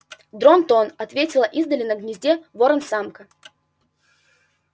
дрон-тон ответила издали на гнезде ворон-самка